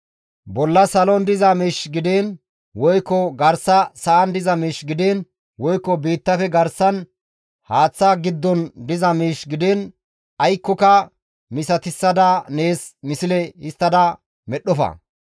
«Bolla salon diza miish gidiin, woykko garsa sa7an diza miish gidiin, woykko biittafe garsan haaththa giddon diza miish gidiin aykkoka misatissada nees misle histtada medhdhofa.